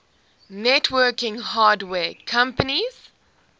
networking hardware companies